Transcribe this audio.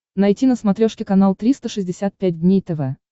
найти на смотрешке канал триста шестьдесят пять дней тв